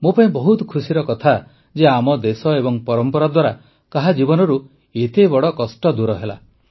ମୋ ପାଇଁ ବହୁତ ଖୁସିର କଥା ଯେ ଆମ ଦେଶ ଏବଂ ପରମ୍ପରା ଦ୍ୱାରା କାହା ଜୀବନରୁ ଏତେ ବଡ଼ କଷ୍ଟ ଦୂର ହେଲା